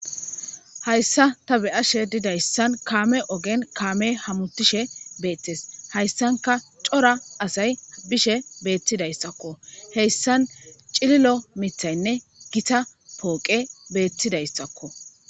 Hayissa ta beyishin kamme ogen kammey hamutishe dizayissa hayissankka coora assay bishshe des ogeza dirankka gitta poqeyinne miththati betetes